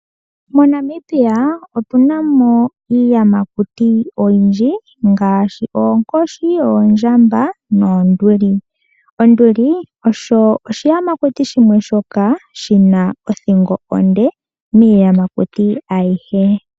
MoNamibia otuna mo iiyamakuti oyindji ngaashi oonkoshi, oondjamba noonduli. Onduli osho oshiyamakuti shimwe shoka shina othingo onde miiyamakuti ayihe.